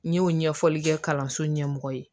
N y'o ɲɛfɔli kɛ kalanso ɲɛmɔgɔ ye